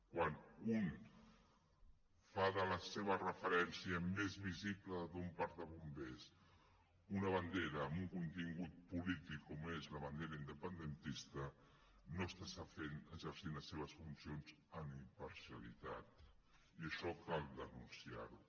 quan un fa de la seva referència més visible d’un parc de bombers una bandera amb un contingut polític com és la bandera independentista no està exercint les seves funcions amb imparcialitat i això cal denunciar ho